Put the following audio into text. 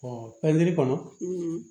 pɛntiri kɔnɔ